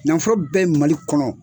Nanfolo bɛ Mali kɔnɔ.